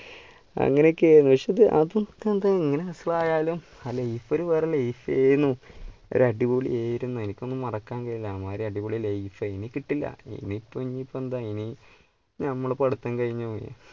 അങ്ങനെയൊക്കെയാണ് അതൊക്കെ പിന്നെ എങ്ങനെ വഷളായാലും ആ life ഒരു വേറെ life ആയിരുന്നു. ഒരു അടിപൊളിയായിരുന്നു എനിക്കൊന്നും മറക്കാൻ കഴിയില്ല അടിപൊളി life ഏനു ഇനി കിട്ടില്ല ഇനിയിപ്പോ എന്താ ഇനിയിപ്പോ നമ്മള് പഠിത്തം കഴിഞ്ഞു പോയി.